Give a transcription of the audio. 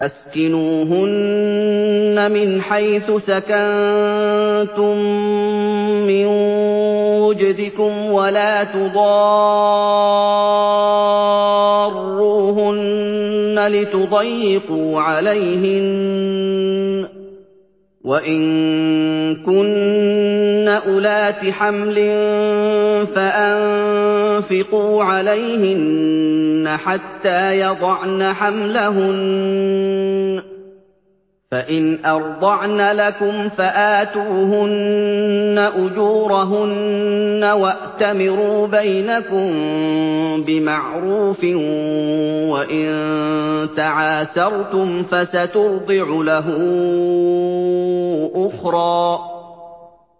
أَسْكِنُوهُنَّ مِنْ حَيْثُ سَكَنتُم مِّن وُجْدِكُمْ وَلَا تُضَارُّوهُنَّ لِتُضَيِّقُوا عَلَيْهِنَّ ۚ وَإِن كُنَّ أُولَاتِ حَمْلٍ فَأَنفِقُوا عَلَيْهِنَّ حَتَّىٰ يَضَعْنَ حَمْلَهُنَّ ۚ فَإِنْ أَرْضَعْنَ لَكُمْ فَآتُوهُنَّ أُجُورَهُنَّ ۖ وَأْتَمِرُوا بَيْنَكُم بِمَعْرُوفٍ ۖ وَإِن تَعَاسَرْتُمْ فَسَتُرْضِعُ لَهُ أُخْرَىٰ